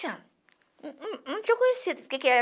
Não não tinha conhecido quem que era